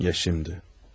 Ya şimdi?